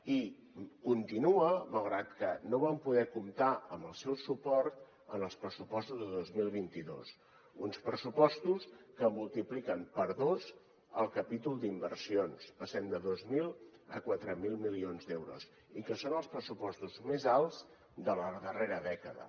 i continua malgrat que no vam poder comptar amb el seu suport en els pressupostos de dos mil vint dos uns pressupostos que multipliquen per dos el capítol d’inversions passem de dos mil a quatre mil milions d’euros i que són els pressupostos més alts de la darrera dècada